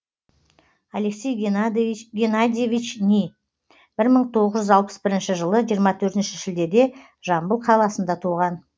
алексей геннадьевич ни бір мың тоғыз жүз алпыс бірінші жылы жиырма төртінші шілдеде жамбыл қаласында туған